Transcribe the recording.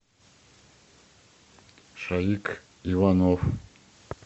шаик иванов